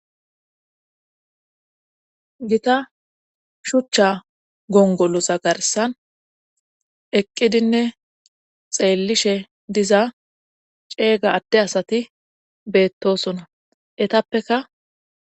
gita shuchcha gongolosa garsan eqqidinne xeellishe diza ceega adde asati beettosona etappeka